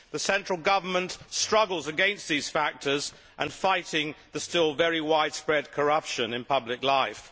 The central government struggles against these factors and in fighting the still very widespread corruption in public life.